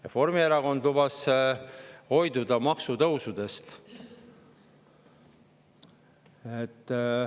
Reformierakond lubas hoiduda maksutõusudest.